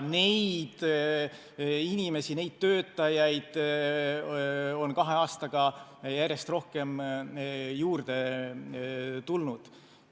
Neid inimesi, neid töötajaid on kahe aastaga järjest rohkem juurde tulnud.